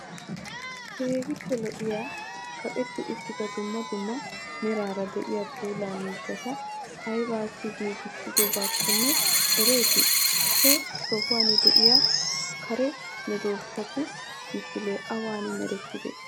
keehippe lo'iya kaqeti uttida dummaa dummaa meraara de'iya puula miishshataa aybassi giggissidobakkonne ereeti? he sohuwan de'iya karee medoossatu misile awan mereettidee?